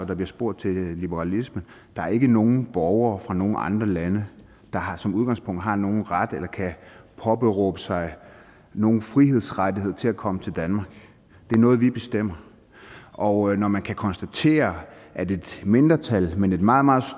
der bliver spurgt til liberalisme der er ikke nogen borgere fra nogen andre lande der som udgangspunkt har nogen ret eller kan påberåbe sig nogen frihedsrettigheder til at komme til danmark det er noget vi bestemmer og når man kan konstatere at et mindretal men et meget meget